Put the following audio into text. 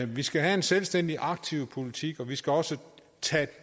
vi skal have en selvstændig aktiv politik og vi skal også tage